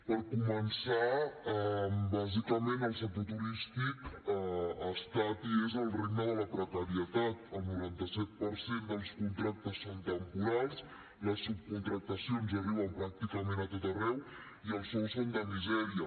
per començar bàsicament el sector turístic ha estat i és el regne de la precarietat el noranta set per cent dels contractes són temporals les subcontractacions arriben pràcticament a tot arreu i els sous són de misèria